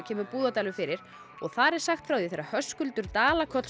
kemur Búðardalur fyrir og þar er sagt frá því þegar Höskuldur Dala